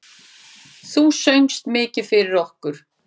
Þú söngst mikið fyrir okkur.